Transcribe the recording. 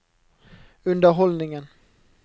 underholdningen